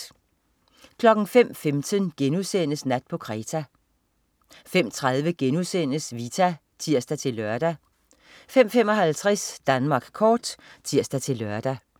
05.15 Nat på Kreta* 05.30 Vita* (tirs-lør) 05.55 Danmark kort (tirs-lør)